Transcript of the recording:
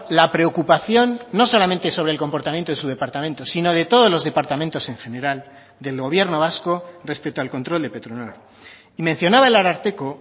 la preocupación no solamente sobre el comportamiento de su departamento sino de todos los departamentos en general del gobierno vasco respecto al control de petronor y mencionaba el ararteko